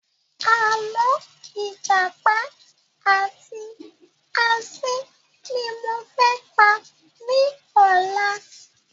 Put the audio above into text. Àlọ́ ìjàpá àti asín ni mo fẹ́ pa ní ọ̀la